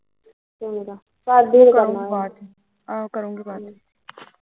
ਆਹੋ ਕਰੁਗੀ ਕੱਲ ਨੂੰ